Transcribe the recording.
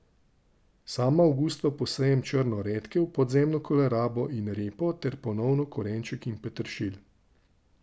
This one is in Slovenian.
Sama avgusta posejem črno redkev, podzemno kolerabo in repo ter ponovno korenček in peteršilj.